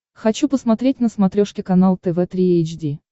хочу посмотреть на смотрешке канал тв три эйч ди